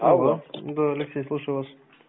алло да алексей слушаю вас